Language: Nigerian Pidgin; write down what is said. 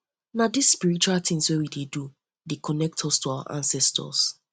na dese spiritual tins wey we dey do dey connect us to our ancestors